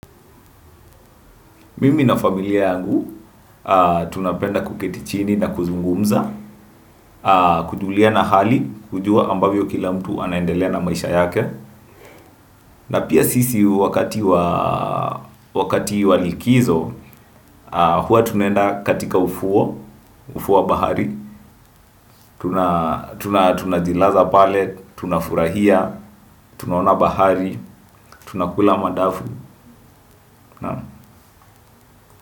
Mimi na familia yangu tunapenda kuketi chini na kuzungumza, kujuliana hali, kujua ambavyo kila mtu anaendelea na maisha yake. Na pia sisi wakati wa likizo, huwa tunaenda katika ufuo wa, ufuo wa bahari, tunajilaza pale tunafurahia tunaona bahari tunakula madafu naam.